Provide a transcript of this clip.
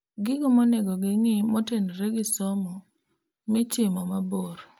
Gigo monego ng'ii motenore gi somo mitimom mabor